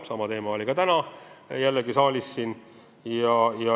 Sama teema oli ka täna siin saalis üleval.